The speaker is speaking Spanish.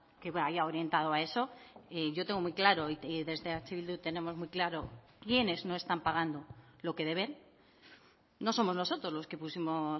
que vaya orientado a eso yo tengo muy claro y desde eh bildu tenemos muy claro quiénes no están pagando lo que deben no somos nosotros los que pusimos